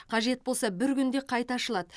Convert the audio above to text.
қажет болса бір күнде қайта ашылады